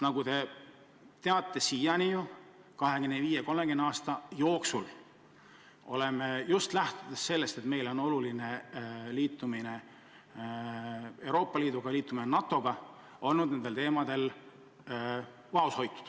Nagu te teate, siiani me oleme 25–30 aasta jooksul lähtunud sellest, et meile on oluline liitumine Euroopa Liiduga, liitumine NATO-ga, ja olnud nendel teemadel vaoshoitud.